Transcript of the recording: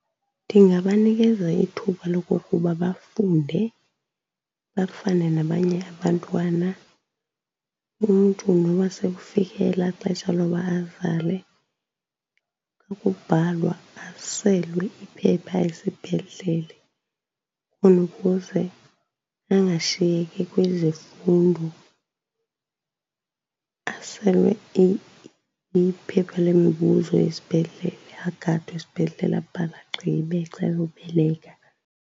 Ndingabanikeza ithuba lokokuba bafunde bafane nabanye abantwana. Umntu noba sekufike elaa xesha loba azale, xa kubhalwa aselwe iphepha esibhedlele khona ukuze angashiyeki kwizimfundo. Aselwe iphepha lemibuzo esibhedlele, agadwe esibhedlele abhale agqibe xa eyobeleka.